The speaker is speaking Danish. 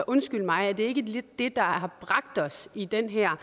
undskyld mig er det ikke lidt det der har bragt os i den her